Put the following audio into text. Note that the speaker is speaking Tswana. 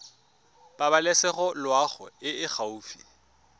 pabalesego loago e e gaufi